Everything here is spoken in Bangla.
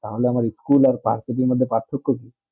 তা হলে আমার school আর পার্থবি মদদে পারতো কবি